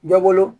Dɔ bolo